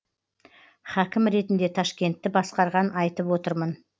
хәкім ретінде ташкентті басқарған айтып отырмын